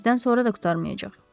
Bizdən sonra da qurtarmayacaq.